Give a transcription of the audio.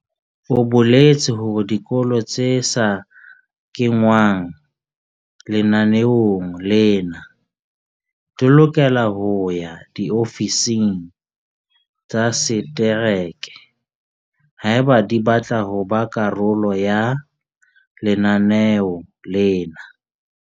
O boletse hore dikolo tse sa kengwang lenaneong lena di lokela ho ya diofising tsa setereke haeba di batla ho ba karolo ya lenaneo lena.